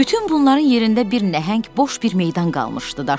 Bütün bunların yerində bir nəhəng boş bir meydan qalmışdı.